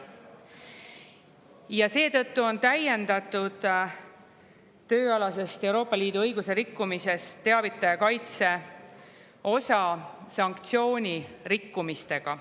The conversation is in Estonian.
Ja seetõttu on täiendatud tööalasest Euroopa Liidu õiguse rikkumisest teavitaja kaitse osa sanktsioonirikkumistega.